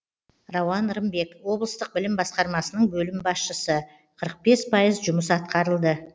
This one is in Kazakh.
рауан рымбек облыстық білім басқармасының бөлім басшысы қырық бес пайыз жұмыс атқарылды